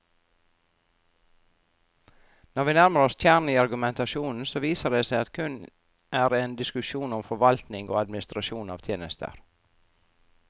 Når vi nærmer oss kjernen i argumentasjonen, så viser det seg at det kun er en diskusjon om forvaltning og administrasjon av tjenester.